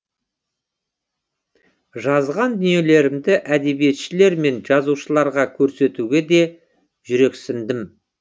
жазған дүниелерімді әдебиетшілер мен жазушыларға көрсетуге де жүрексіндім